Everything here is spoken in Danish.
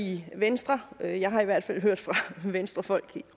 i venstre jeg jeg har i hvert fald hørt fra venstrefolk